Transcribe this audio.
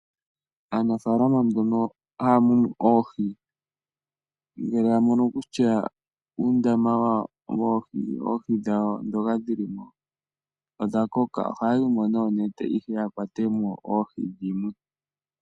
Aanafaalama mbono haya munu oohi ngele ya mono kutya uundama woohi, oohi dhawo ndhoka dhili mo odhakoka ohaya yimo noonete ihe ya kwatemo oohi dhimwe.